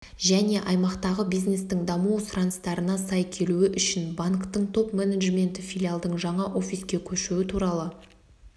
және аймақтағы бизнестің даму сұраныстарына сай келуі үшін банктің топ-менеджменті филиалдың жаңа офиске көшуі туралы